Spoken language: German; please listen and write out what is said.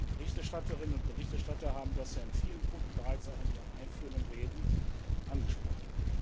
Die Berichterstatterinnen und Berichterstatter haben das ja in vielen Punkten bereits auch in ihren einführenden Reden angesprochen.